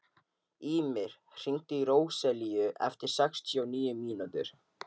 Ýmir, hringdu í Róselíu eftir sextíu og níu mínútur.